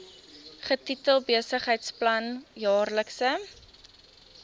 getitel besigheidsplan jaarlikse